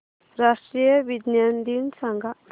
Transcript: राष्ट्रीय विज्ञान दिन सांगा